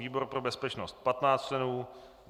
výbor pro bezpečnost 15 členů